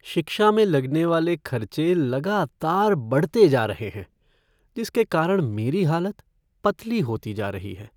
शिक्षा में लगने वाले खर्चे लगातार बढ़ते जा रहे हैं जिसके कारण मेरी हालत पतली होती जा रही है।